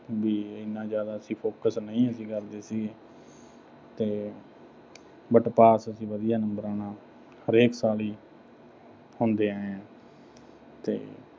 ਵੀ ਐਨਾ ਜ਼ਿਆਦਾ ਅਸੀਂ focus ਨਹੀਂ ਅਸੀਂ ਕਰਦੇ ਸੀ ਤੇ but pass ਅਸੀਂ ਵਧੀਆ numbers ਨਾਲ ਹਰੇਕ ਸਾਲ ਹੀ ਹੁੰਦੇ ਆਏ ਆਂ। ਤੇ